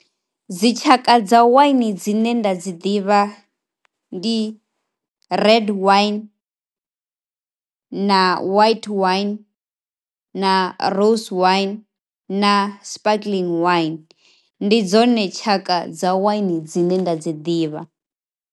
Dzi tshaka dza waini dzine nda dzi ḓivha ndi red waini na white waini na rose waini na sparkling waini. Ndi dzone tshaka dza waini dzine nda dzi ḓivha.